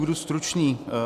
Budu stručný.